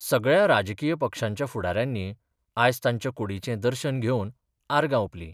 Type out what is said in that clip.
सगळ्या राजकीय पक्षांच्या फुडाऱ्यांनी आयज तांच्या कुडीचें दर्शन घेवन आर्गा ओपलीं.